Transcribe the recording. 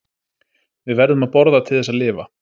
Við verðum að borða til þess að lifa.